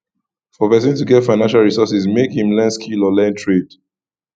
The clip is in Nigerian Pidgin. for persin to get financial resources make im learn skill or learn trade